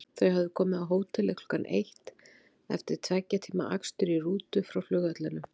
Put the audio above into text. Þau höfðu komið á hótelið klukkan eitt eftir tveggja tíma akstur í rútu frá flugvellinum.